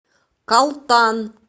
калтан